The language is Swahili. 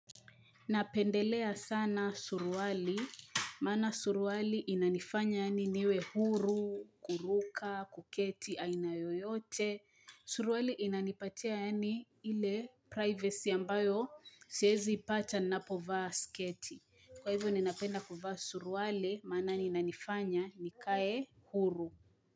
Napendelea sana suruali, mana suruali inanifanya yaani niwe huru, kuruka, kuketi, aina yoyote. Suruali inanipatia yaani ile privacy ambayo siezi ipata ninapovaa sketi. Kwa hivyo ninapenda kuvaa suruali, maana inanifanya nikae huru.